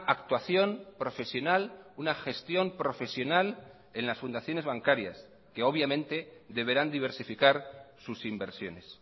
actuación profesional una gestión profesional en las fundaciones bancarias que obviamente deberán diversificar sus inversiones